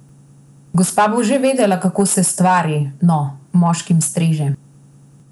Gospa bo že vedela, kako se stvari, no, moškim streže.